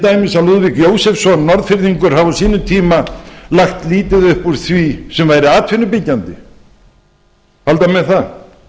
dæmis að lúðvík jósefsson norðfirðingur hafi á sínum tíma lagt lítið upp úr því sem var atvinnubyggjandi halda menn það